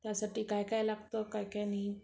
त्यासाठी काय काय लागतं, काय काय नाही